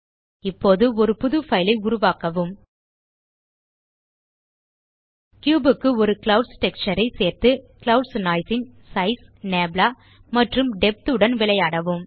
இப்போது ஒரு புது பைல் ஐ உருவாக்கவும் கியூப் க்கு ஒரு க்ளவுட்ஸ் டெக்ஸ்சர் ஐ சேர்த்து க்ளவுட்ஸ் நோய்ஸ் ன் சைஸ் நப்லா மற்றும் டெப்த் உடன் விளையாடவும்